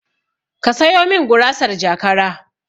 Ka sayo min gurasar jakara